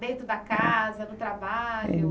Dentro da casa, no trabalho?